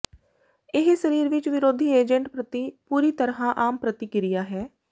ਇਹ ਸਰੀਰ ਵਿਚ ਵਿਰੋਧੀ ਏਜੰਟ ਪ੍ਰਤੀ ਪੂਰੀ ਤਰ੍ਹਾਂ ਆਮ ਪ੍ਰਤਿਕਿਰਿਆ ਹੈ